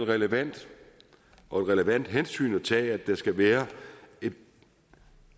relevant og et relevant hensyn at tage at der skal være et